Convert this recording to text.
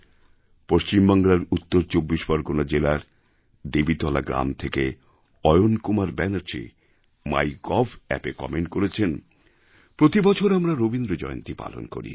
পশ্চিমবাংলার উত্তর ২৪ পরগণা জেলার দেবীতলা গ্রাম থেকে অয়ন কুমার ব্যানার্জী mygovঅ্যাপে কমেণ্ট করেছেন প্রতিবছর আমরা রবীন্দ্রজয়ন্তী পালন করি